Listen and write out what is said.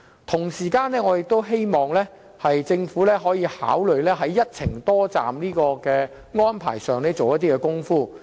同時，我希望政府可考慮在一程多站的安排上多下工夫。